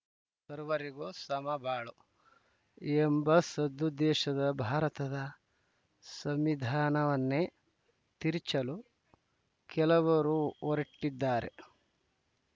ಸರ್ವರಿಗೂ ಸಮಬಾಲು ಸರ್ವರಿಗೂ ಸಮಬಾಳು ಎಂಬ ಸದುದ್ದೇಶದ ಭಾರತದ ಸಂವಿಧಾನವನ್ನೇ ತಿರುಚಲು ಕೆಲವರು ಹೊರಟಿದ್ದಾರೆ